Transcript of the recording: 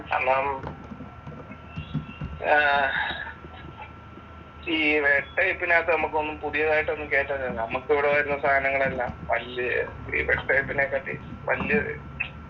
കാരണം ആഹ് ഈ റെഡ് ടൈപ്പിനകത്ത് നമ്മക്കൊന്നും പുതിയതായിട്ട് ഒന്നും കേറ്റാനില്ല. നമ്മക്കിവിടെ വരുന്ന സാധനങ്ങളെല്ലാം വല്യ ഈ ഡെസ്‌ക്ടോപിനേക്കാട്ടിൽ വലിയ